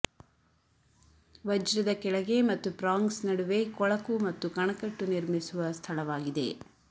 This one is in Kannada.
ವಜ್ರದ ಕೆಳಗೆ ಮತ್ತು ಪ್ರಾಂಗ್ಸ್ ನಡುವೆ ಕೊಳಕು ಮತ್ತು ಕಣಕಟ್ಟು ನಿರ್ಮಿಸುವ ಸ್ಥಳವಾಗಿದೆ